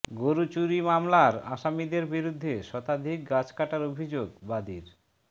গরু চুরি মামলার আসামিদের বিরুদ্ধে শতাধিক গাছ কাটার অভিযোগ বাদীর